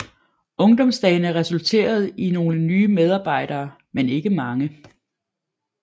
Ungdomsdagene resulterede i nogle nye medarbejdere men ikke mange